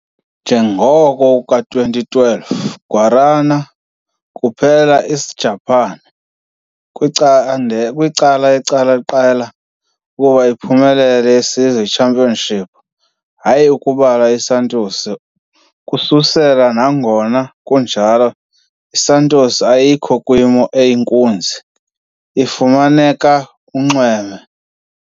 Njengoko ka-2012, Guarani kuphela Isijapani kwicanda kwicala iqela ukuba kuba uphumelele yesizwe championship, hayi ukubala Santos, ukususela nangona kunjalo Santos ayikho kwimo eyinkunzi, ifumaneka kunxweme.